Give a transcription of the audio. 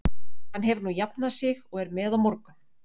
Hann hefur nú jafnað sig og er með á morgun.